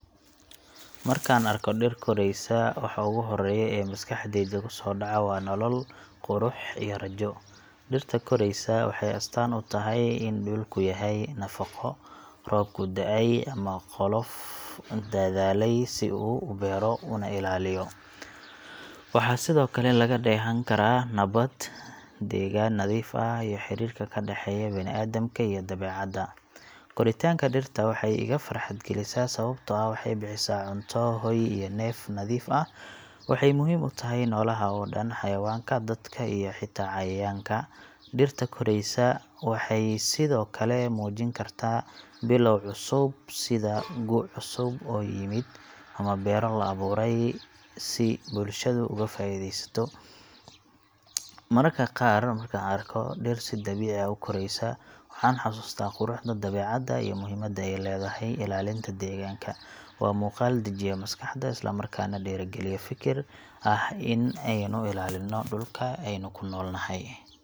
Markaan arko dhir koraysa, waxa ugu horreeya ee maskaxdayda ku soo dhaca waa nolol, qurux, iyo rajo. Dhirta koraaysa waxay astaan u tahay in dhulku leeyahay nafaqo, roobku da’ay, ama qof dadaalay si uu u beero una ilaaliyo. Waxaa sidoo kale laga dheehan karaa nabad, degaan nadiif ah, iyo xiriirka ka dhexeeya bini’aadamka iyo dabeecadda. Koritaanka dhirta waxay iga farxad galisaa sababtoo ah waxay bixisaa cunto, hoy, iyo neef nadiif ah. Waxay muhiim u tahay noolaha oo dhan xayawaanka, dadka, iyo xitaa cayayaanka. Dhirta koraysa waxay sidoo kale muujin kartaa bilow cusub, sida gu’ cusub oo yimid, ama beero la abuuray si bulshadu uga faa’iidaysato. Mararka qaar, markaan arko dhir si dabiici ah u koraaysa, waxaan xasuustaa quruxda dabeecadda iyo muhiimadda ay leedahay ilaalinta deegaanka. Waa muuqaal dejiya maskaxda, isla markaana dhiirrigeliya fikir ah in aynu ilaalinno dhulka aynu ku noolnahay.